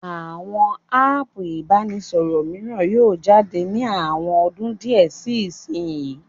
Àwọn áàpù ìbánisọ̀rọ̀ mìíràn yóò jáde ní àwọn ọdún díẹ̀ sí ìsinyii